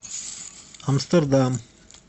амстердам